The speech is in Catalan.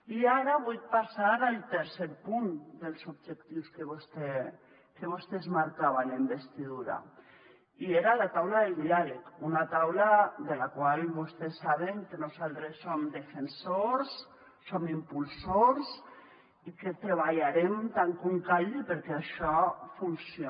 i ara vull passar al tercer punt dels objectius que vostè es marcava en la investidura i era la taula del diàleg una taula de la qual vostès saben que nosaltres som defensors som impulsors i que treballarem tant com calgui perquè això funcione